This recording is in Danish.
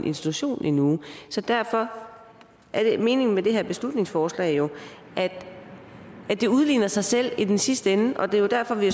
institution i en uge så derfor er meningen med det her beslutningsforslag at det udligner sig selv i den sidste ende og det er derfor vi